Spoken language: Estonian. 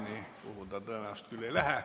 Nii pikaks see tõenäoliselt küll ei lähe.